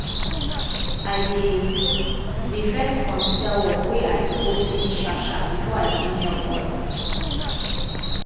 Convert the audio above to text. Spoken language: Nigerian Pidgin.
i dey dey first consider work wey i suppose finish sharp sharp before i begin help others.